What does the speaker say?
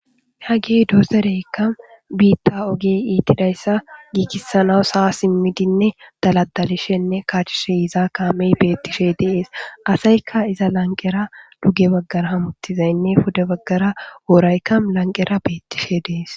Hagey dozzereykka itidda ogiya gigissananaw ha simidi kashishenne bokishe dees kamey betishe dees adaykkaduge bagarra hemetizzaynne pude bagarra worraykka lanqerra betishe de's.